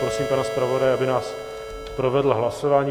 Prosím pana zpravodaje, aby nás provedl hlasováním.